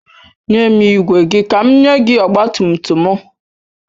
Nye m igwe gị ka m nye gị ọgbatumtum m.